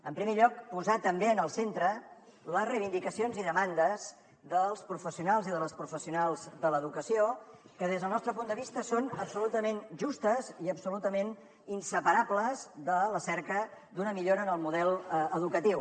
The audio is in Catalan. en primer lloc posar també en el centre les reivindicacions i demandes dels professionals i de les professionals de l’educació que des del nostre punt de vista són absolutament justes i absolutament inseparables de la cerca d’una millora en el model educatiu